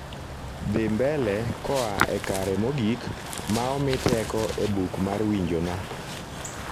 dhi mbele koa e kare mogik maomi teko e buk mar winjona